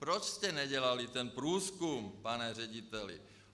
Proč jste nedělali ten průzkum, pane řediteli?